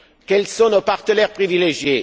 Quels sont nos partenaires privilégiés?